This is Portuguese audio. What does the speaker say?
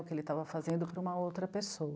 O que ele estava fazendo para uma outra pessoa.